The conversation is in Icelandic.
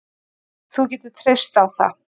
Þú getur treyst á það